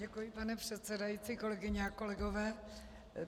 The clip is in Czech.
Děkuji, pane předsedající, kolegyně a kolegové.